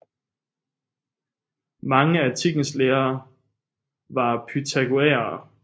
Mange af antikkens læger var pythagoræere